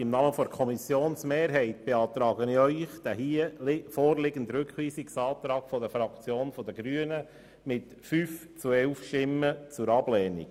Im Namen der Kommissionsmehrheit mit 5 zu 11 Stimmen beantrage ich Ihnen den vorliegenden Rückweisungsantrag der Fraktion der Grünen zur Ablehnung.